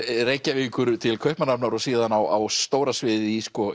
Reykjavíkur til Kaupmannahafnar og síðan á stóra sviðið í